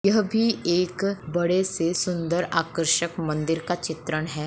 यह भी एक बड़े से सुंदर आकर्षक मंदिर का चित्रण है।